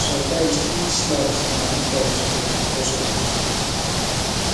sometimes street snacks de take time to get because of di queue